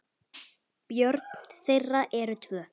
Börn þeirra eru tvö.